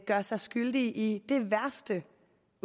gør sig skyldig i det værste